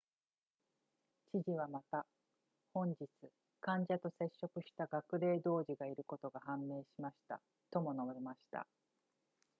知事はまた本日患者と接触した学齢児童がいることが判明しましたとも述べました